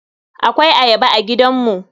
Akwai Ayaba a gidanmu.